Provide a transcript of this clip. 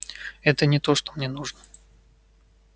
это не то что мне нужно